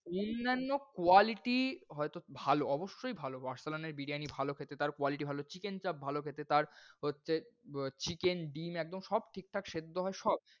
অন্যান্য, quality হয়তো ভালো অবশ্যই ভালো। আরসালান এর বিরিয়ানি ভালো খেতে তার quality ভালো chicken চাপ ভালো খেতে তার হচ্ছে chicken ডিম একদম ঠিকঠাক সেদ্ধ হয় সব।